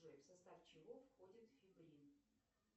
джой в состав чего входит фибрин